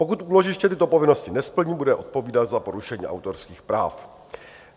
Pokud úložiště tyto povinnosti nesplní, bude odpovídat za porušení autorských práv.